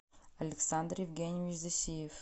александр евгеньевич засиев